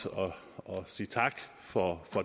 sige tak for